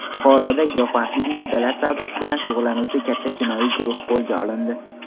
Buxoroda giyohvandlik moddalar savdosi bilan shug‘ullanuvchi katta jinoiy guruh qo‘lga olindi.